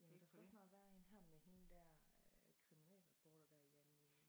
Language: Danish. Der skal også snart være en her med hende dér øh kriminalreporter dér Janni